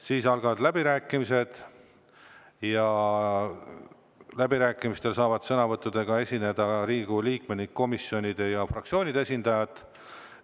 Siis algavad läbirääkimised ja läbirääkimistel saavad sõnavõttudega esineda Riigikogu liikmed ning komisjonide ja fraktsioonide esindajad.